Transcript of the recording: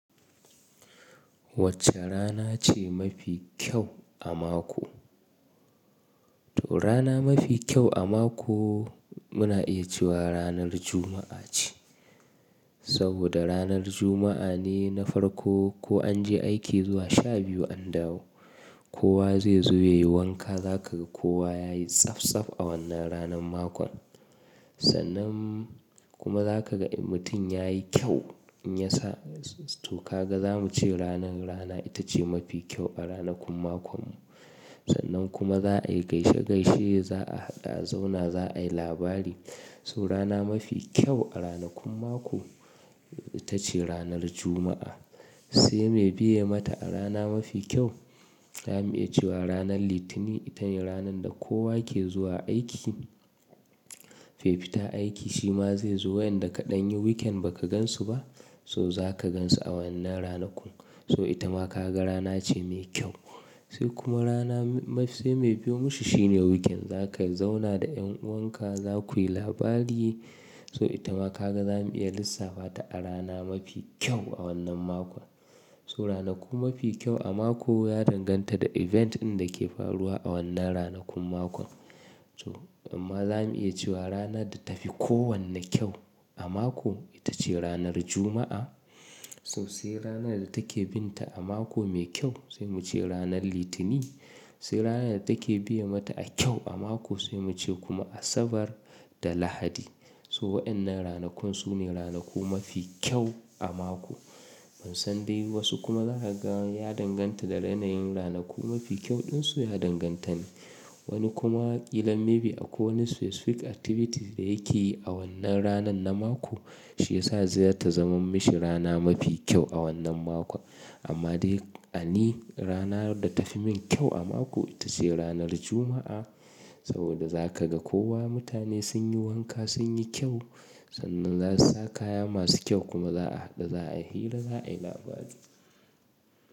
Wacce rana ce mafi kyau a mako? To rana mafi kyau a mako muna iya cewa ranar Juma'a ce. Saboda ranar Juma'a ne na farko ko an je aiki zuwa sha biyu an dawo. Kowa zai zo ya yi wanka, za ka ga kowa ya yi tsatsaf a wannan ranar makon. Sannan kuma za ka ga in mutum ya yi kyau in ya sa. To ka ga za mu ce ranar rana ita ce mafi kyau a ranakun makon mu. Sannan kuma za a yi gaishe gaishe, za a haɗu a zauna, za a yi labari. So rana mafi kyau a ranakun mako ita ce ranar Juma'a. Sai me biye mata a rana mafi kyau, za mu iya cewa ranar Litinin ita ne ranar da kowa ke zuwa aiki. Mai fita aiki shi ma zai zo wa'yanda ka ɗan yi weekend ba ka gansu ba, so za ka gansu a wannan ranakun. So ita ma ka ga rana ce mai kyau. Sai kuma rana mafi, sai mai biyo mashi shi ne weekend. Za ka zauna da ƴan'uwanka, za ku yi labari. So ita ma ka ga za mu iya lissafa ta a rana mafi kyau a wannan makon. So ranaku mafi kyau a mako ya danganta da event ɗin da ke faruwa a wannan ranakun makon. To amma za mu iya cewa rana da ta fi kowanne kyau a mako ita ce ranar Juma'a. So sai rana da take bin ta a mako mai kyau sai mu ce ranar Litinin. Sai rana da take biye mata a kyau a mako sai mu ce kuma Asabar da Lahadi. So waɗannan ranakun su ne ranaku mafi kyau a mako. Ban san dai wasu kuma za ka ga ya danganta da yanayin ranaku mafi kyau ɗin su ya danganta ne. Wani kuma ƙilan maybe akwai wani specific activities da yake yi a wannan ranan na mako, shi ya sa zai ta zama mashi rana mafi kyau a wannan makon. Amma dai a ni rana da ta fi min kyau a mako ita ce ranar Juma'a. Saboda za ka ga kowa mutane sun yi wanka, sun yi kyau. Sannan za su sa kaya masu kyau kuma za a haɗu, za a yi hira, za a yi labari.